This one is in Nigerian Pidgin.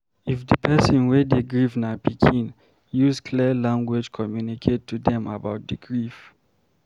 if di person wey dey grief na pikin, use clear language communicate to them about di grief